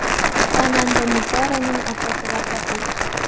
Xonanda Nigoraning otasi vafot etdi.